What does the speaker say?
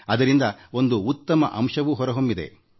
ಅದರಿಂದ ಒಂದು ಉತ್ತಮ ಅಂಶವೂ ಹೊರಹೊಮ್ಮಿದೆ